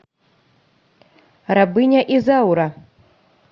рабыня изаура